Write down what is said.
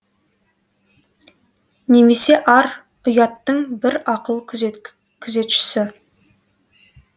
немесе ар ұяттың бір ақыл күзетшісі